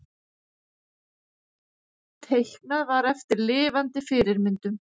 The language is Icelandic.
Teiknað var eftir lifandi fyrirmyndum.